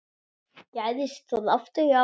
Gerðist það aftur í ár.